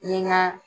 Ni n ka